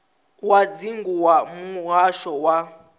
wa dzingu wa muhasho wa